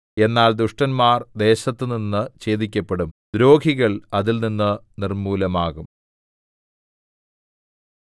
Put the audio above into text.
എന്നാൽ ദുഷ്ടന്മാർ ദേശത്തുനിന്ന് ഛേദിക്കപ്പെടും ദ്രോഹികൾ അതിൽനിന്ന് നിർമ്മൂലമാകും